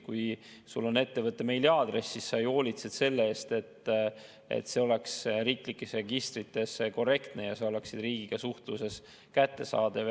Kui sul on ettevõtte meiliaadress, siis sa ju hoolitsed selle eest, et see oleks riiklikes registrites korrektne ja sa oleksid riigiga suhtluses kättesaadav.